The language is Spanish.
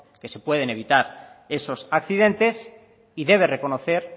que se pueden evitar esos accidentes y debe reconocer